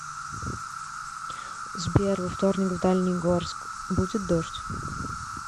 сбер во вторник в дальний горск будет дождь